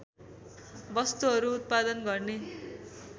वस्तुहरू उत्पादन गर्ने